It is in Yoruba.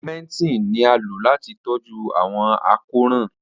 Augmentin ni a lo lati tọju awọn àkórán.